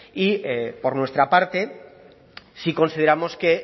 y por nuestra parte sí consideramos que